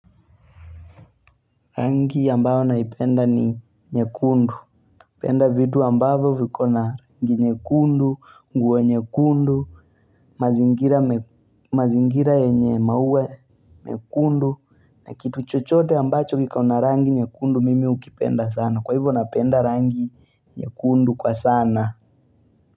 Rangi ambayo naipenda ni nyekundu napenda vitu ambavyo vikona rangi nyekundu nguo nyekundu mazingira mazingira yenye maua nyekundu na kitu chochote ambacho kikona rangi nyekundu mimi hukipenda sana kwa hivyo napenda rangi nyekundu kwa sana.